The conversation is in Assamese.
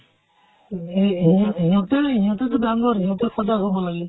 হে হে হিহঁতেও হিহঁতে টো ডাঙ্গৰ, হিহঁতে সজাগ হʼব লাগে।